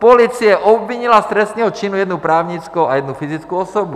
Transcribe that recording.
Policie obvinila z trestného činu jednu právnickou a jednu fyzickou osobu.